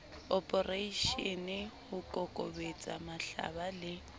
oporeishene ho kokobetsa mahlaba le